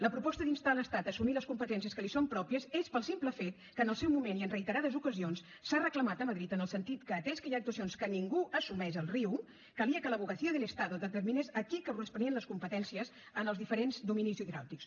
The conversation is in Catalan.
la proposta d’instar l’estat a assumir les competències que li són pròpies és pel simple fet que en el seu moment i en reiterades ocasions s’ha reclamat a madrid en el sentit que atès que hi ha actuacions que ningú assumeix al riu calia que l’abogacía del estado determinés a qui corresponien les competències en els diferents dominis hidràulics